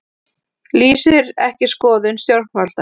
Lýsir ekki skoðun stjórnvalda